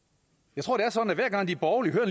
jeg tror det er sådan at hver gang de borgerlige hører